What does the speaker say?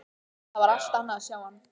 Það var allt annað að sjá hann.